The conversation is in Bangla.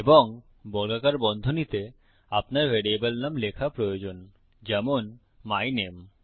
এবং বর্গাকার বন্ধনীতে আপনার ভ্যারিয়েবল নাম লেখা প্রয়োজন যেমন মাই নামে